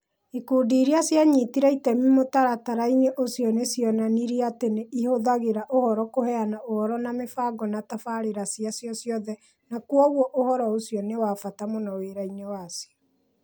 Ikundi iria cianyitire itemi mũtaratara-inĩ ũcio nĩ cionanirie atĩ nĩ ihũthagĩra ũhoro kũheana ũhoro wa mĩbango na tabarĩra ciacio ciothe na kwoguo ũhoro ũcio nĩ wa bata mũno wĩra-inĩ wacio.